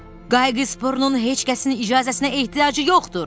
Qayıqsbörnun heç kəsin icazəsinə ehtiyacı yoxdur.